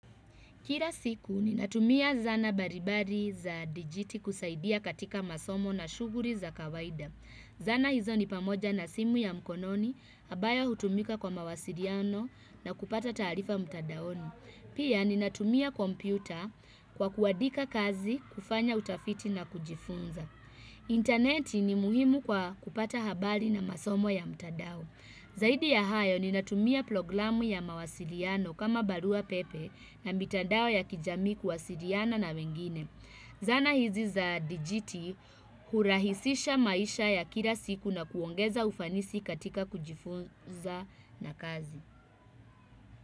Kira siku, ninatumia zana baribari za dijiti kusaidia katika masomo na shuguri za kawaida. Zana hizo ni pamoja na simu ya mkononi, habaya hutumika kwa mawasiriano na kupata tarifa mtadaoni. Pia, ninatumia kompyuta kwa kuadika kazi, kufanya utafiti na kujifunza. Interneti ni muhimu kwa kupata habari na masomo ya mtadao. Zaidi ya hayo ninatumia ploglamu ya mawasiliano kama barua pepe na mitandao ya kijamii kuwasiriana na wengine. Zana hizi za dijiti hurahisisha maisha ya kila siku na kuongeza ufanisi katika kujifunza na kazi.